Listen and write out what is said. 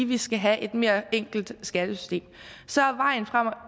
vi skal have et mere enkelt skattesystem og så er vejen frem